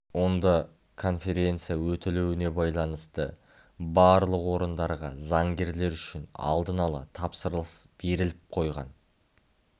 онда конференция өтілуіне байланысты барлық орындарға заңгерлер үшін алдын-ала тапсырыс беріліп қойған